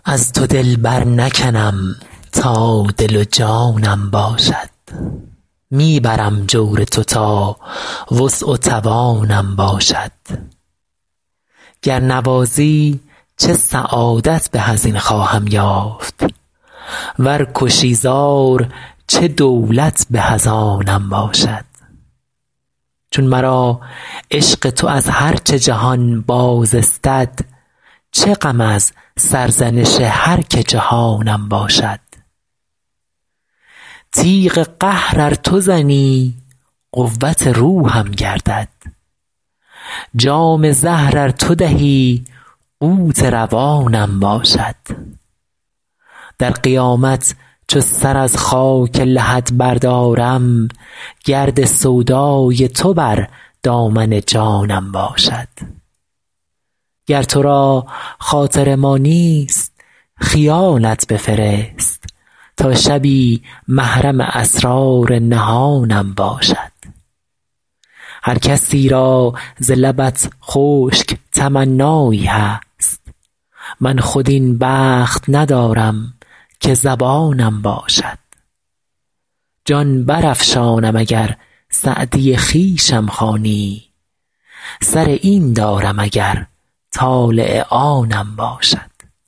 از تو دل برنکنم تا دل و جانم باشد می برم جور تو تا وسع و توانم باشد گر نوازی چه سعادت به از این خواهم یافت ور کشی زار چه دولت به از آنم باشد چون مرا عشق تو از هر چه جهان باز استد چه غم از سرزنش هر که جهانم باشد تیغ قهر ار تو زنی قوت روحم گردد جام زهر ار تو دهی قوت روانم باشد در قیامت چو سر از خاک لحد بردارم گرد سودای تو بر دامن جانم باشد گر تو را خاطر ما نیست خیالت بفرست تا شبی محرم اسرار نهانم باشد هر کسی را ز لبت خشک تمنایی هست من خود این بخت ندارم که زبانم باشد جان برافشانم اگر سعدی خویشم خوانی سر این دارم اگر طالع آنم باشد